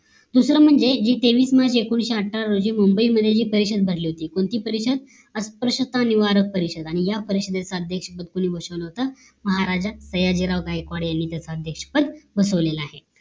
दुसरं म्हणजे जी तेवीस म्हणजे एकोणीशे अठ्ठावीस रोजी जे मुंबई मध्ये जी परिषद भरली होती कोणती परीषद अस्पृश्यता निवारक परिषद या परिषदेच्या अध्यक्ष भरपूर EMOTIONAL होता महाराजा सयाजीराव गायकवाड यानि त्याचा अध्याक्ष पद बसवलेली आहे